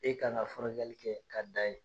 E kan ka furakɛli kɛ ka dan yen.